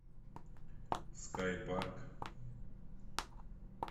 скай парк